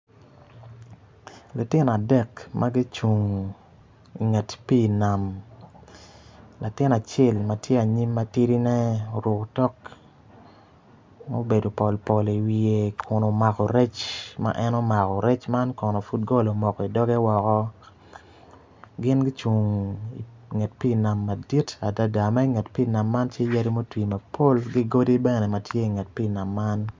Lutino adek ma gicung inget pii nam latin acel ma tye anyim ma tidine oruko tok ma obedo pol pol iwiye kun omako rec ma en omako rec man kono pud gol omoko idoge woko gin gucung inget pii nam madit adada ma inget pii nam man tye yadi ma otwi mapol ki godi bene ma tye inget pii nam man.